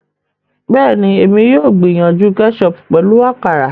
Bẹẹni, èmi yóò gbìyànjú ketchup pẹlu àkàrà